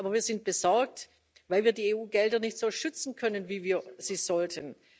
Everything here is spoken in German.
Aber wir sind besorgt, weil wir die EU Gelder nicht so schützen können, wie wir es sollten.